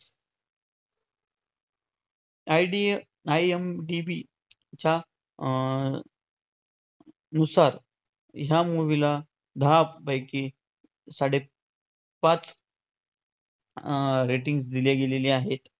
IDA, IMDB च्या अं नुसार ह्या movie ला दहापैकी साडेपाच अं ratings दिले गेलेले आहेत.